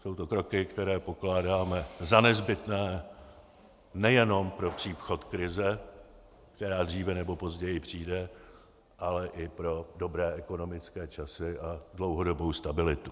Jsou to kroky, které pokládáme za nezbytné nejenom pro příchod krize, která dříve nebo později přijde, ale i pro dobré ekonomické časy a dlouhodobou stabilitu.